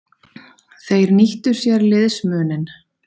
Þeir nýttu sér liðsmuninn.